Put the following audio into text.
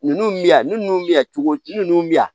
Ninnu bi yan ni ninnu bi yan cogo di ninnu bɛ yan